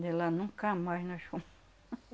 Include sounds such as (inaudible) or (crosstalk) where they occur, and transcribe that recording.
De lá nunca mais nós fomos. (laughs)